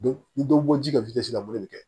Ni dɔ bɔ ji ka la morikelen